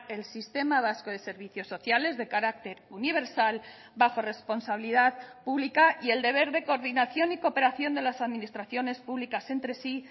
el sistema vasco de servicios sociales de carácter universal bajo responsabilidad pública y el deber de coordinación y cooperación de las administraciones públicas entre sí